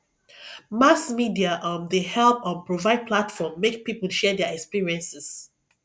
mass media um dey help um provide platform make people share their experiences